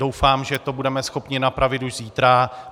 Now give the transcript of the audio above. Doufám, že to budeme schopni napravit už zítra.